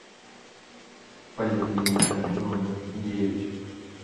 поликлиника номер девять